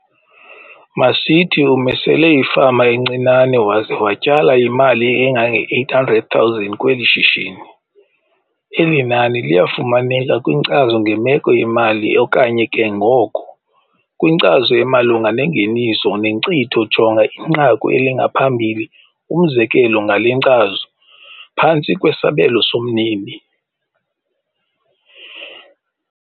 Masithi umisele ifama encinane waze watyala imali engange-R800 000 kweli shishini. Eli nani liyafumaneka kwinkcazo ngemeko yemali okanye ke ngoko kwinkcazo emalunga nengeniso nenkcitho jonga inqaku elingaphambili umzekelo ngale nkcazo, phantsi kwesabelo somnini.